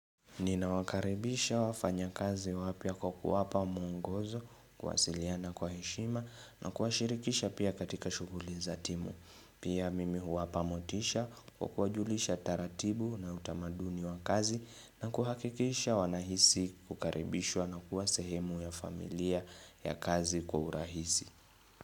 Ninawakaribisha wafanya kazi wapya kwa kuwapa mwongozo kuwasiliana kwa heshima na kuwashirikisha pia katika shughuli za timu. Pia mimi huwapa motisha kwa kuwajulisha taratibu na utamaduni wa kazi na kuhakikisha wanahisi kukaribishwa na kuwa sehemu ya familia ya kazi kwa urahisi.